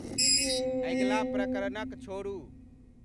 अगिला प्रकरण क छोड़ूं